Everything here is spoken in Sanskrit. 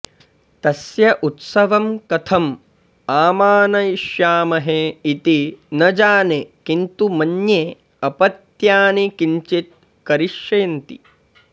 तस्य उत्सवं कथम् आमानयिष्यामहे इति न जाने किन्तु मन्ये अपत्यानि किञ्चित् करिष्यन्ति